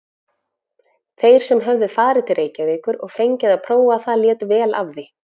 Þeir sem höfðu farið til Reykjavíkur og fengið að prófa það létu vel af því.